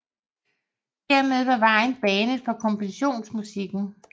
Dermed var vejen banet for kompositionsmusikken